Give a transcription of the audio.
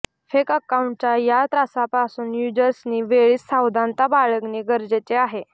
fake अकाउंटच्या या त्रासापासून युजर्सनी वेळीच सावधानता बाळगणे गरजेचे आहे